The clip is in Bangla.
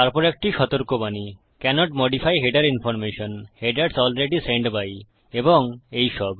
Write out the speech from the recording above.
তারপর একটি সতর্কবাণী cannot modify header information - headers already sent by এবং এই সব